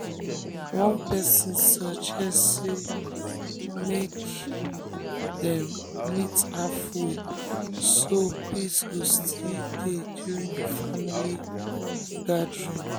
one person suggest say um make say um make dem meet halfway um so peace go still um dey during the family gathering.